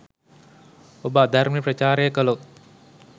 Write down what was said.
ඔබ අධර්මය ප්‍රචාරය කළොත්